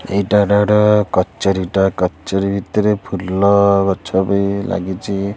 ଏଇଟା ଡ଼ାର କଚେରି ଟା କଚେରି ଭିତରେ ଫୁଲଗଛ ବି ଲାଗିଚି।